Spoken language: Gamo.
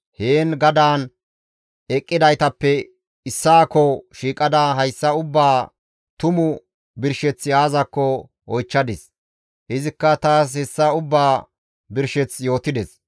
Taas heen gadaan eqqidaytappe issaakko shiiqada hayssa ubbaa tumu birsheththi aazakko oychchadis; izikka taas hessa ubbaa birsheth yootides.